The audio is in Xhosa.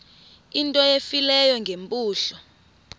into efileyo ngeempumlo